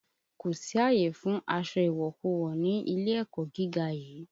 Kò sí àyè fún aṣọ ìwọ̀kuwọ̀ ni ilé ẹ̀kọ́ gíga yìí!